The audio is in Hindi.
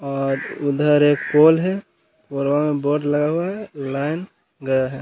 और उधर एक पोल है। पोलवा में बोर्ड लगा हुआ है लाइन गया है।